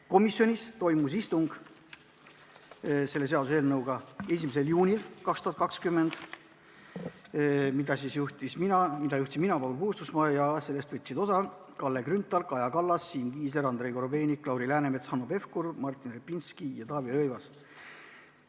Komisjonis toimus istung 1. juunil 2020, mida juhtisin mina, Paul Puustusmaa, ja võtsid osa Kalle Grünthal, Kaja Kallas, Siim Kiisler, Andrei Korobeinik, Lauri Läänemets, Hanno Pevkur, Martin Repinski ja Taavi Rõivas.